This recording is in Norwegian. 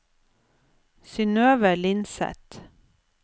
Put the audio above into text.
Synøve Lindseth